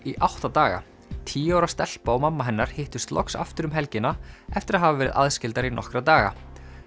í átta daga tíu ára stelpa og mamma hennar hittust loks aftur um helgina eftir að hafa verið aðskildar í nokkra daga